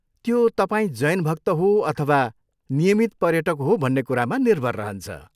त्यो तपाईँ जैन भक्त हो अथवा नियमित पर्यटक हो भन्ने कुरामा निर्भर रहन्छ।